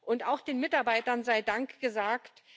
Und auch den Mitarbeitern sei Dank gesagt.